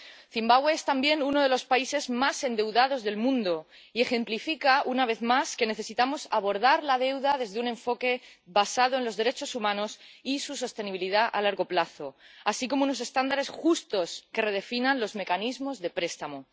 Zimbabue es también uno de los países más endeudados del mundo y ejemplifica, una vez más, que necesitamos abordar la deuda desde un enfoque basado en los derechos humanos y su sostenibilidad a largo plazo, así como en unos estándares justos que redefinan los mecanismos de préstamo.